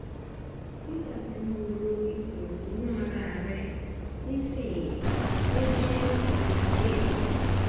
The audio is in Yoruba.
nígbà tí mo wo ipò ìgbóná ara rẹ nísìnyí ó jẹ́ 38